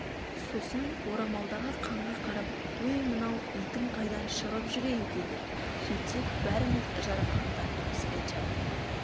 сосын орамалдағы қанға қарап өй мынау итің қайдан шығып жүр ей деді сөйтсек бәріміз жарақаттаныппыз әйтеуір